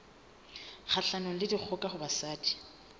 kgahlanong le dikgoka ho basadi